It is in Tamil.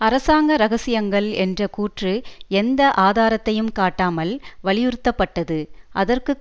அரசாங்க இரகசியங்கள் என்ற கூற்று எந்த ஆதாரத்தையும் காட்டாமல் வலியுறுத்தப்பட்டது அதற்கு